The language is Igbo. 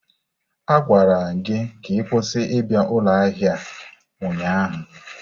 A gwara gị ka ị kwụsị ịbịa ụlọ ahịa a ụnyaahụ!